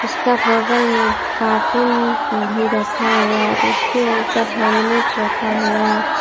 उसके बगल में कार्टून भी रखा हुआ है उसके ऊपर हेल्मेट रखा हुआ है।